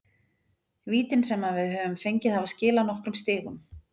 Vítin sem að við höfum fengið hafa skilað nokkrum stigum.